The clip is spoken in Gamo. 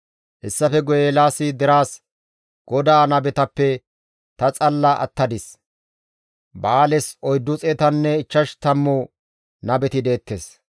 Hessafe guye Eelaasi deraas, «GODAA nabetappe ta xalla attadis; Ba7aales oyddu xeetanne ichchash tammu nabeti deettes.